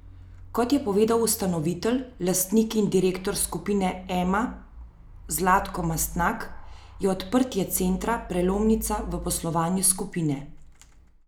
Kot je povedal ustanovitelj, lastnik in direktor Skupine Ema Zlatko Mastnak, je odprtje centra prelomnica v poslovanju skupine.